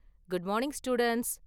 Good morning students.